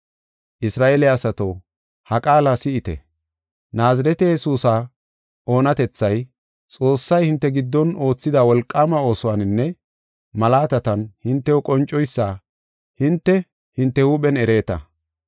“Isra7eele asato, ha qaala si7ite. Naazirete Yesuusa oonatethay, Xoossay hinte giddon oothida wolqaama oosuwaninne malaatatan hintew qoncoysa hinte, hinte huuphen ereeta.